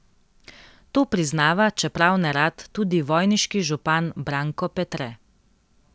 To priznava, čeprav nerad, tudi vojniški župan Branko Petre.